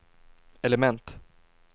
element